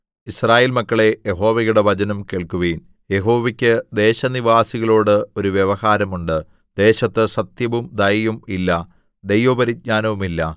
യിസ്രായേൽ മക്കളേ യഹോവയുടെ വചനം കേൾക്കുവിൻ യഹോവയ്ക്ക് ദേശനിവാസികളോട് ഒരു വ്യവഹാരം ഉണ്ട് ദേശത്ത് സത്യവും ദയയും ഇല്ല ദൈവപരിജ്ഞാനവുമില്ല